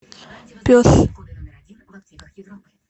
пес